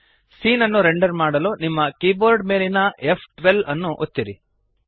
scene ಅನ್ನು render ಮಾಡಲು ನಿಮ್ಮ ಕೀಬೋರ್ಡ್ ಮೇಲಿನ ಫ್12 ಅನ್ನು ಒತ್ತಿರಿ